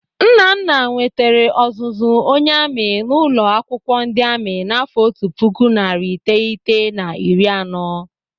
Nnana nwetere ọzụzụ onye amị n'ụlọ akwụkwọ ndị amị n'afọ otu puku narị iteghete na iri anọ.